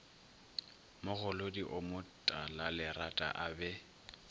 mogolodi o motalalerata a be